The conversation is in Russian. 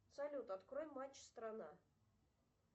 салют открой матч страна